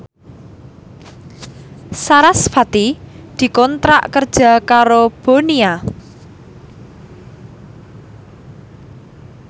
sarasvati dikontrak kerja karo Bonia